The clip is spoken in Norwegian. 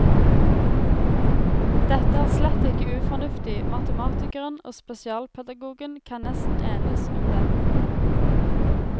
Dette er slett ikke ufornuftig, matematikeren og spesialpedagogen kan nesten enes om det.